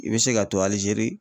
I bɛ se ka to ALIZERI.